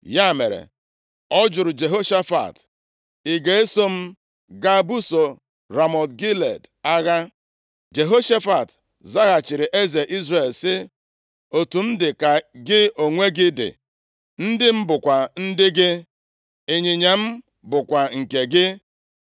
Ya mere, ọ jụrụ Jehoshafat, “Ị ga-eso m gaa buso Ramọt Gilead agha?” Jehoshafat zaghachiri eze Izrel, sị, “Otu m dị ka gị onwe gị dị, ndị m bụkwa ndị gị, ịnyịnya m bụkwa nke gị.”